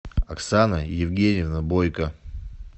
оксана евгеньевна бойко